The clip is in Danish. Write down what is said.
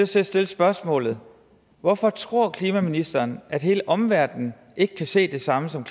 til at stille spørgsmålet hvorfor tror klimaministeren at hele omverdenen ikke kan se det samme som